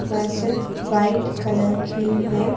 मस्जिद white colour की है।